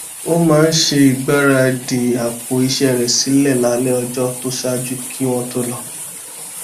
ó máa ń ṣe ìgbáradì àpò iṣé rè sílè lálé ọjó tó ṣáájú kí wón tó lọ